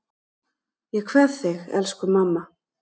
Ég kveð þig, elsku mamma.